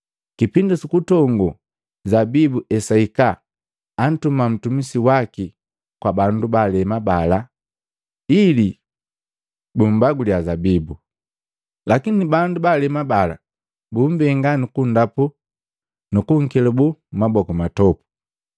Kipindi sukutongo zabibu esahika, antuma mtumisi waki kwa bandu baalema bala ili bumbaguliya zabibu. Lakini bandu baalema bala bumbenga nukundapu nukunkelabu maboku matopu.